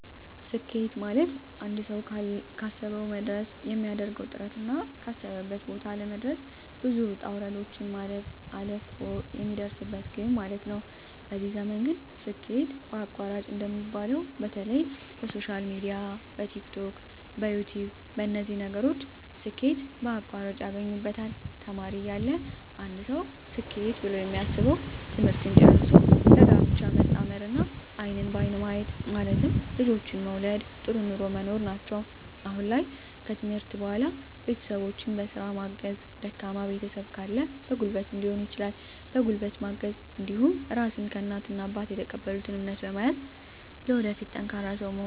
ስኬት ማለትአንድ ሰዉ ካሰዉ ለመድረስ የሚያደርገዉ ጥረትና ካሰበበት ቦታ ለመድረስ ብዙ ዉጣ ዉረዶችን ማለፍ አልፍ የሚደርስበት ግብ ማለት ነዉ በዚህ ዘመን ግን ስኬት በአቋራጭ እንደሚባለዉ በተለይ በሶሻል ሚድያ በቲክቶክ በዩትዩብ በነዚህ ነገሮች ስኬት በአቋራጭ ያገኙበታል ተማሪ እያለ አንድ ሰዉ ስኬት ብሎ የሚያስበዉ ትምህርትን ጨርሶ በጋብቻ መጣመርና አይንን በአይን ማየት ማለትም ልጆችን መዉለድ ጥሩ ኑሮ መኖር ናቸዉ አሁን ላይ ከትምህርት በኋላ ቤተሰቦቸን በስራ ማገዝ ደካማ ቤተሰብ ካለ በጉልበትም ሊሆን ይችላል በጉልበት ማገዝ እንዲሁም ራሴን ከእናት ከአባት የተቀበልኩትን እምነት በመያዝ ለወደፊት ጠንካራ ሰዉ መሆን ነዉ